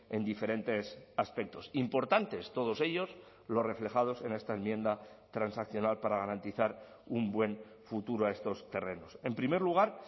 en diferentes aspectos importantes todos ellos los reflejados en esta enmienda transaccional para garantizar un buen futuro a estos terrenos en primer lugar